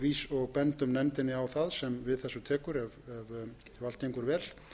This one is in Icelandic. umsögnum og bendum nefndinni á það sem við þessu tekur ef allt gengur vel